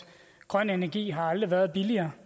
grøn energi har aldrig været billigere